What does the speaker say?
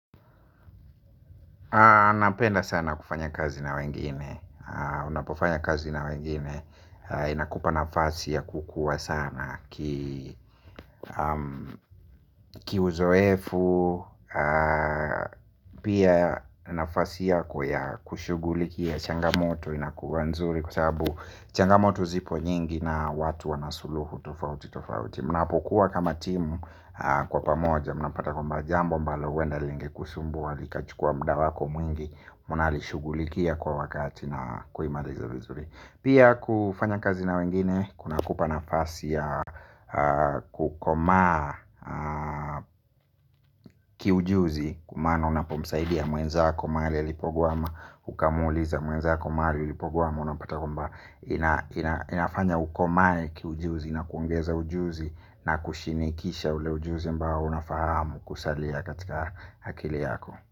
Napenda sana kufanya kazi na wengine. Unapofanya kazi na wengine inakupa nafasi ya kukua sana. Ki uzoevu. Pia nafasi yako ya kushughulikia changamoto inakua nzuri kwa sababu changamoto zipo nyingi. Na watu wanasuluhu tofauti tofauti. Munapokuwa kama timu kwa pamoja munapata kwamba jambo ambalo huenda lingekusumbua likachukua muda wako mwingi munalishughulikia kwa wakati na kuimaliza vizuri. Pia kufanya kazi na wengine kuna kupa nafasi ya kukomaa ki ujuzi kumaana unapomsaidia mwenzako mahali alipokwama. Ukamuuliza mwenzako mahali alipokwama. Unapata kwamba inafanya ukomae ki ujuzi na kuongeza ujuzi na kushinikisha ule ujuzi ambao unafahamu kusalia katika akili yako.